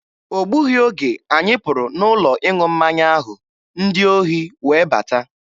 O gbughị oge anyị pụrụ n'ụlọ ịṅụ mmanya ahụ, ndị ohi wee bata.